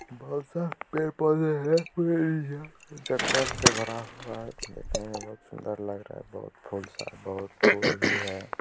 बहुत सारा पेड़-पौधे हैं जंगल से भरा हूआ है| देखने में बहुत ही सुंदर लग रहा है| बहुत फूल-सा बहुत फूल भी है।